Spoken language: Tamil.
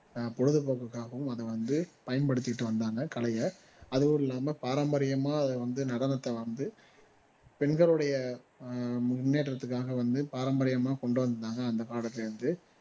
பொழுதுபோக்குக்காகவும் அதை வந்து பயன்படுத்திட்டு வந்தாங்க கலைய அதுவும் இல்லாம பாரம்பரியமா அதை வந்து நடனத்தை வந்து பெண்களுடைய ஆஹ் முன்னேற்றத்துக்காக வந்து பாரம்பரியமா கொண்டு வந்திருந்தாங்க அந்த காலத்துல இருந்து